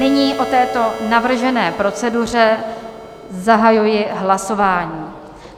Nyní o této navržené proceduře zahajuji hlasování.